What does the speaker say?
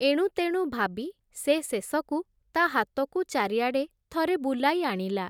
ଏଣୁତେଣୁ ଭାବି ସେ ଶେଷକୁ, ତା’ ହାତକୁ ଚାରିଆଡ଼େ ଥରେ ବୁଲାଇ ଆଣିଲା ।